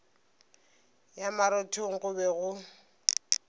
ya marothong go be go